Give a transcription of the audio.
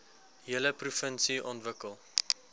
hele provinsie ontwikkel